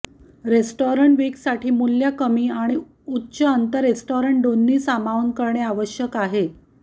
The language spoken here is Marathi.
रेस्टॉरन्ट वीकसाठी मूल्य कमी आणि उच्च अंत रेस्टॉरन्ट दोन्ही सामावून करणे आवश्यक आहे